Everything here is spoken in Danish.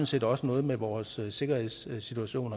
set også noget med vores sikkerhedssituation